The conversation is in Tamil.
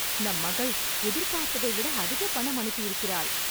நம் மகள், எதிர்பார்த்ததை விட, அதிக பணம் அனுப்பியிருக்கிறாள்